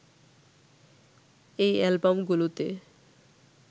এই অ্যালবামগুলোতে